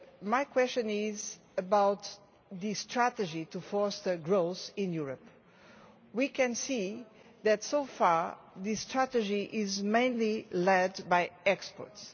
My question is about the strategy to foster growth in Europe. We can see that, so far, this strategy is mainly led by exports.